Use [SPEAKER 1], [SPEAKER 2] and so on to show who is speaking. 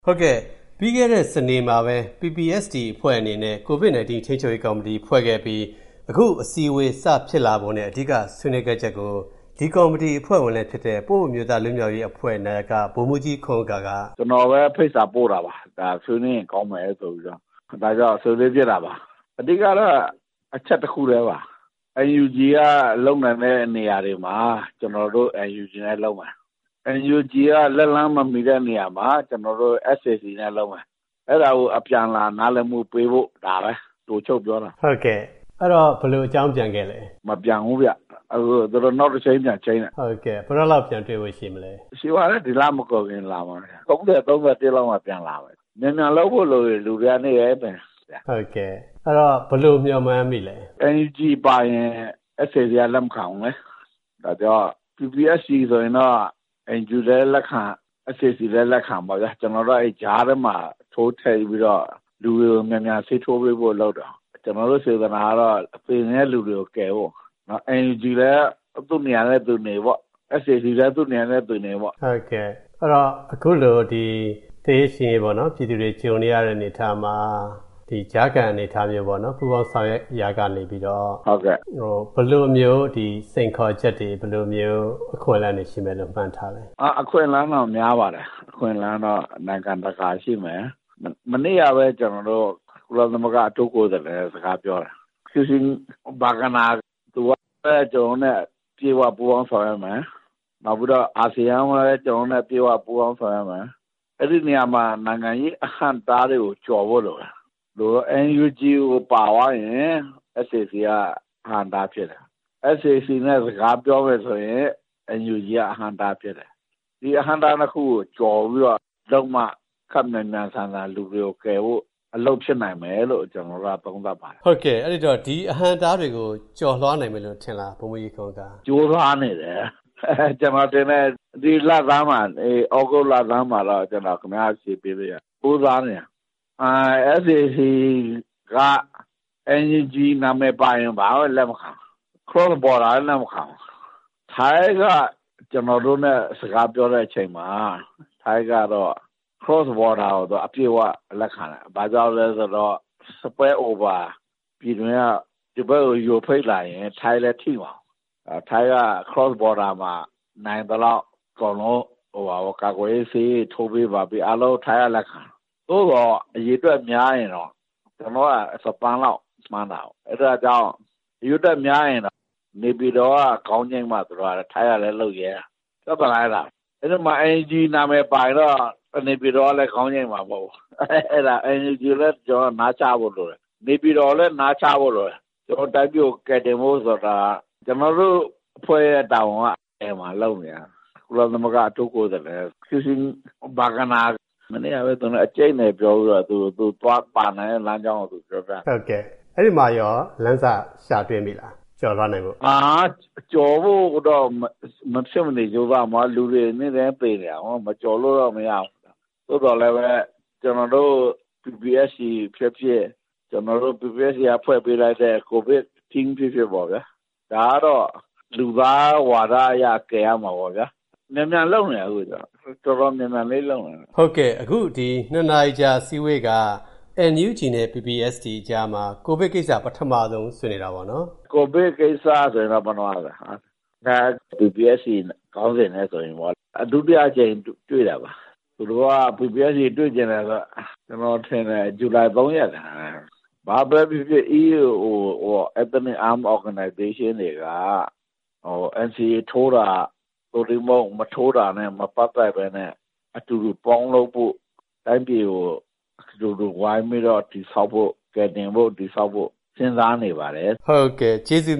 [SPEAKER 1] ဟုတ်ကဲ့။ ပြီးခဲ့တဲ့ စနေမှာပဲ PPST အဖွဲ့ အနေနဲ့ ကိုဗစ်နိုင်တင်း ထိန်းချုပ်ရေးကော်မီတီဖွဲ့ခဲ့ပြီး အခုအစည်းအဝေးဖြစ်လာပုံနဲ့ အဓိကဆွေးနွေးခဲ့ချက်ကို ဒီကော်မီတီအဖွဲ့ဝင်နဲ့ ပအို့အမျိုးသား လွတ်မြောက်ရေးအဖွဲ့ နာယက ဗိုလ်မှူးကြီး ခွန်ဥက္ကာ က
[SPEAKER 2] ကျနော်ပဲ ဖိတ်စာပို့တာပါ။ အဓိကဆွေးနွေးဖြစ်ဖို့လိုပါတယ်။ အဓိကကတော့ အချက်တခုတည်းပါ။NUG လုပ်နိုင်တဲ့နေရာမှာ ကျနော်တို့ NUG နဲ့ လုပ်မယ်။ လက်လှမ်းမမီတဲ့နေရာမှာ ကျနော်တို့. SAC နဲ့လုပ်မယ်။ အဲဒါကို အပြန်အလှန်နားလည်မှုပေးဖို့ ဒါပါပဲ။
[SPEAKER 1] အဲဒီတော့ ဘယ်လိုအကြောင်းပြန်ခဲ့လဲ။
[SPEAKER 2] မပြန်ဘူးဗျ။ သူတို့နောက်တချိန်းပြန်ချိန်းတယ်။
[SPEAKER 1] ဘယ်တော့လောက် တွေ့ဖို့ရှိမလဲ။
[SPEAKER 2] ဒီလမကုန်ခင်လာမယ်။ ၃ဝ နဲ့ ၃၁ လောက်မှာ ပြန်လာမယ်။ မြန်မြန်လုပ်ဖို့လိုမယ်။ လူတွေက နေတိုင်းသေနေကြတာ။
[SPEAKER 1] ဘယ်လိုမျှော်မှန်းမိလဲ။
[SPEAKER 2] NUG ပါရင် SAC က လက်မခံဘူးလေ။ ဒါကြောင့် PPST ဆိုရင်တော့ ၂ခုစလုံးက လက်ခံပေါ့ဗျာ။ ကျနော်တို့အဖွဲ့က ကြားထဲကနေပြီး လူတွေကို ဆေးထိုးပေးဖို့လုပ်တယ်။ ကျနော်တို့စေတနာကတော့ သေနေတဲ့လူတွေကို ကယ်ဖို့။ NUG လည်း သူနေရာသူနေပေါ့။ SAC လည်း သူနေရာသူနေပေါ့။
[SPEAKER 1] အခုလို လူတွေသေရေးရှင်ရေးကြုံနေကြရတဲ့အနေအထားမှာ ဒီကြားခံအနေအထားမျိုးပေါ့။ ပူးပေါင်းဆောင်ရွက်ရာကနေ ဘယ်လိုမျိုး စိန်ခေါ်ချက်တွေ၊ ပူးပေါင်းဆောင်ရွက်မှုတွေမှန်းထားသလဲ။
[SPEAKER 2] အခွင့်အလန်းတော့ များပါတယ်။ အခွင့်အလန်းတော့ နိုင်ငံတကာရှိတယ်။ မနေ့ကပဲ ကျနော်တို့ ကုလသမဂ္ဂအထူးကိုယ်စားလှယ်နဲ့ စကားပြောတယ်။ Christine Schraner Burgener က ကျနော်တို့နဲ့ အပြည့်အဝပူးပေါင်းမယ်။ နောက်ပြီးတော့ အာဆီယံလည်း ကျနော်တို့နဲ့ အပြည့်အဝပူးပေါင်းဆောင်ရွက်မယ်။ အဲဒီနေရာမှာ နိုင်ငံရေးအဟန့်အတားတွေကို ကျော်ဖို့လိုမယ်။ NUG ကိုပါသွားရင် SAC က အဟန့်အတားဖြစ်တယ်။ SAC နဲ့ စကားပြောရင် NUG က အဟန့်အတားဖြစ်တယ်။ ဒီအဟန့်အတား ၂ခုကို ကျော်ပြီးတော့ လုပ်မှ လူတွေကို မြန်မြန်ဆန်ဆန်ကယ်ဖို့ အလုပ်ဖြစ်နိုင်မယ်လို့ ကျနော်တို့က ယူဆပါတယ်။
[SPEAKER 1] ဟုတ်ကဲ့ ဒီအဟန့်အတားတွေကို ကျော်လွှားနိုင်မယ်ထင်လား။
[SPEAKER 2] ကြိုးစားနေပါတယ်။ ဒီသြဂုတ်လဆန်းလောက်မှာ အဖြေပေးလို့ရတယ်။ SAC က NUG နာမည်ပါရင်ဘာမှလက်မခံဘူး။ Cross Border လည်း လက်မခံဘူး။ ထိုင်းက ကျနော်တို့နဲ့ စကားပြောတဲ့အခါမှာ ထိုင်းကတော့ Cross Border ကို အပြည့်အဝလက်ခံတယ်။ ဘာကြောင့်လဲဆိုတော့ ဒီဖက်ကို ယိုဖိတ်လာရင် ထိုင်းလည်းထိမှာကို။ ထိုင်းက Cross Border မှာနိုင်သလောက် ကာကွယ်ဆေးထိုးပေးဖို့ အားလုံးလက်ခံတယ်။ သို့သော် အရေအတွက်များရင်တော့ ကျနော်တို့က တသန်းလောက်မှန်းတာကို ။ အရေအတွက်များရင်တော့ နေပြည်တော် က ခေါင်းငြိမ်းမှ ထိုင်းကလည်း လက်ခံမှာကို ။ အဲဒီမှာ NUG ပါရင်တော့ နေပြည်တော်ကလည်း လက်ခံမှာမဟုတ်ဘူး။ ထိုင်းကလည်း လက်ခံမှာမဟုတ်ဘူး။ NUG ကိုလည်း နားချဖို့လိုတယ်။ နေပြည်တော်ကိုလည်း နားချဖို့လိုတယ်။ တိုင်းပြည်ကို ကယ်တင်ဖို့ဆိုတာက ကျနော်တို့တိုင်းပြည်ကယ်တင်ဖို့က ကုလအထူးကိုယ်စားလှယ်နဲ့ အကြိတ်နယ်ပြောပြီး သူပါဝင်မယ်အကြောင်းပြောပြတယ်။
[SPEAKER 1] အဲဒီမှာကော လမ်းစရမိလား။ ကျော်လွှားနိုင်ဖို့။
[SPEAKER 2] ကျော်လွှားဖို့မဖြစ်မနေလုပ်ရမှာပါ။ လူတွေလည်း နေတိုင်းသေနေတာကို ။ ကျော်လွှားရမှာပေါ့။ သို့သော်လည်းပဲ ကျနော်တို့ PPST ဖြစ်ဖြစ်၊ ကျနော်တို့ဖွဲ့ထားတဲ့ ကိုဗစ်အဖွဲ့ဖြစ်ဖြစ်ပေါ့ဗျာ။ ဒါကတော့ လူသားဝါဒအရ ကယ်ရမှာပေါ့ဗျာ။ မြန်မြန်လုပ်နေတယ်။
[SPEAKER 1] NUG နဲ့ PPST အကြားမှာ ကိုဗစ်ကိစ္စပထမဆုံးဆွေးနွေးတာပေါ့နော်။
[SPEAKER 2] ဒုတိယအကြိမ်တွေ့တာပါ။ ဇူလိုင် ၃ ရက်က PPST တွေ့ချင်တယ်ဆိုတာ။ ဘာပဲဖြစ်ဖြစ် EAO Ethnics Arm Org တွေက NCA ထိုးတာ မထိုးတာနဲ့ မပတ်သက်ပဲနဲ့ အတူတူပေါင်းလုပ်ဖို့ တိုင်းပြည်ကို အတူတူဝိုင်းတည်ဆောက်ဖို့ စဉ်းစားနေပါတယ်။
[SPEAKER 1] ဟုတ်ကဲ့။ ကျေးဇူး